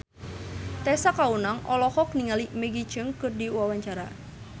Tessa Kaunang olohok ningali Maggie Cheung keur diwawancara